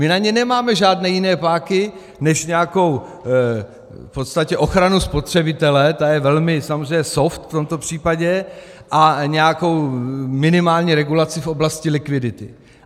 My na ně nemáme žádné jiné páky než nějakou v podstatě ochranu spotřebitele, která je velmi samozřejmě soft v tomto případě, a nějakou minimální regulaci v oblasti likvidity.